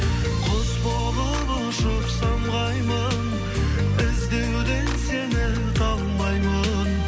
құс болып ұшып самғаймын іздеуден сені талмаймын